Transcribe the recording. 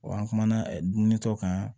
Wa an kumana dumuni kɛ kan